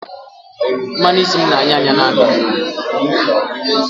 Mmanu isi m n'anya anya n'aka